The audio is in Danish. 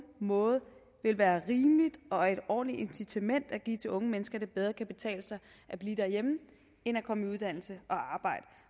måde vil være rimeligt og et ordentligt incitament at give unge mennesker at det bedre kan betale sig at blive derhjemme end at komme i uddannelse